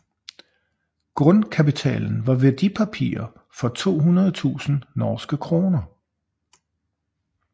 Grundkapitalen var værdipapirer for 200 000 NOK